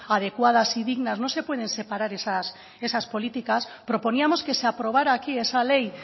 adecuadas y dignas no se pueden separar esas políticas proponíamos que se aprobara aquí esa ley